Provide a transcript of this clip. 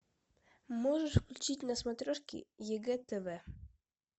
можешь включить на смотрешке егэ тв